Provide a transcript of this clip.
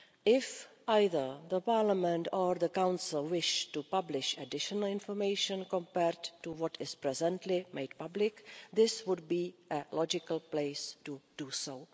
If either the Parliament or the Council wish to publish additional information compared to what is presently made public, this would be a logical place to do so.